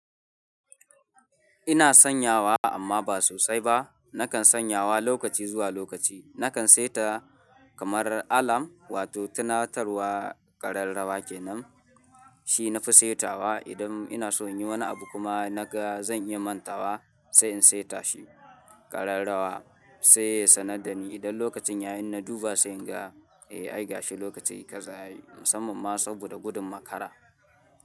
Ina sanyawa amma ba sosai ba. Nakan sanyawa lokaci zuwa lokaci. Nakan saita kamar alam wato tunatarwa ƙararrawa kenan. Shi nafi saita wa idan ina so in yi wani abu kuma naga zan iya mantawa sai in saita shi ƙararrawa sai ya sanar da ni. Idan lokacin ya yi in na duba sai in ga eh ai gashi lokaci kaza yayi musamman ma saboda gudun makara.